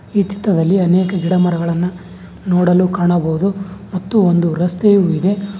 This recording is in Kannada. ಈ ಚಿತ್ತದಲ್ಲಿ ಅನೇಕ ಗಿಡ ಮರಗಳನ್ನ ನೋಡಲು ಕಾಣಬಹುದು ಮತ್ತು ಒಂದು ರಸ್ತೆಯು ಇದೆ.